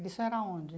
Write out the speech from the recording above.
Isso era onde?